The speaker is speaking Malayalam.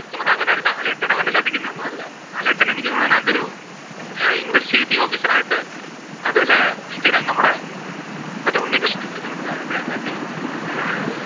Twelth Man അങ്ങനെ ലാലേട്ടൻ അങ്ങനെ ചതിക്കുന്നത് ഒന്നും അല്ല. ലാലേട്ടൻ എനിക്ക് തോന്നുന്ന് അതിനകത്തു ഒരു അഹ് investigative officer ആയിട്ട് അതില് സ്ഥിരം നമ്മളുടെ മറ്റേ ഉണ്ണികൃഷ്ണൻ film അഹ് അതിന്‍റെ അകത്തെ